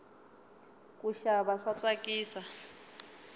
kuxava swa tsakisa